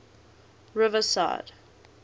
riverside